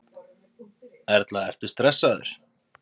Erla: Ertu stressaður?